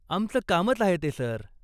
आमचं कामच आहे ते, सर.